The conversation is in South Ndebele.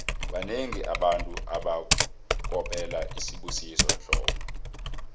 banengi abantu abakopela usibusiso dlomo